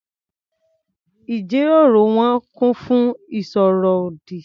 Ìjíròrò wọn kún fún ìsọ̀rọ̀ ọ̀dì.